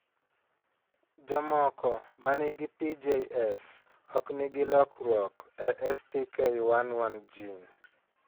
Jomoko ma nigi PJS ok nigi lokruok e STK11 gene.